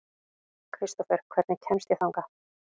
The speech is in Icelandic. Kristófer, hvernig kemst ég þangað?